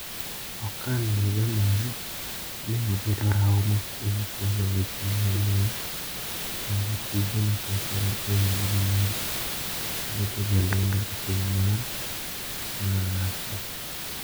Orkhan Dzhemal ne obedo rahuma kuom chwalo weche mag lweny ,kendo tije nochakore e higni mag bedo jalendo e piny mar mar Rasia.